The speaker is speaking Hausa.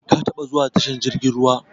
Ka taba zuwa tashar jirgin ruwa?